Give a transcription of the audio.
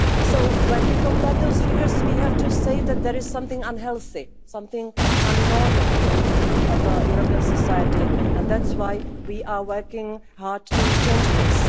So when we compare those figures, we have to say that there is something unhealthy and abnormal in other European societies, and that's why we are working hard to change this.